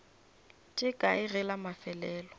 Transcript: tše kae ge la mafelelo